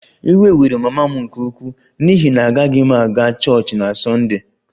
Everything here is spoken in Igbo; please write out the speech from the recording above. Iwe were mama m nke ukwuu n'ihi na agaghị m aga chọọchị na Sunday